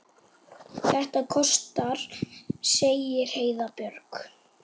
Þetta kostar, segir Heiða Björg.